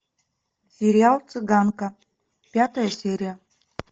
сериал цыганка пятая серия